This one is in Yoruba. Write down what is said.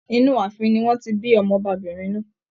Inú ààfin ni wọn ti bí Ọmọ ọbabìnrin náà.